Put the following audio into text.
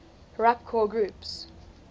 rapcore groups